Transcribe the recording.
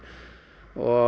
og